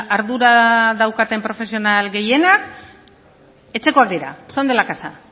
ardura daukaten profesional gehienak etxekoak dira son de la casa